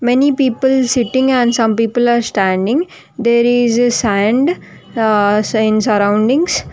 Many people sitting and some people are standing there is a sand aa sun surroundings.